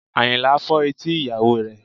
Àyìnlá fọ́ etí ìyàwó rẹ̀